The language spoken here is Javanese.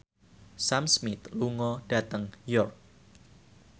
Sam Smith lunga dhateng York